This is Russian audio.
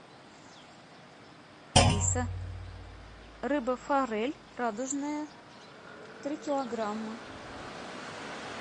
алиса рыба форель радужная три килограмма